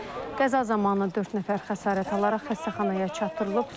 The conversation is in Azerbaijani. Qəza zamanı dörd nəfər xəsarət alaraq xəstəxanaya çatdırılıb.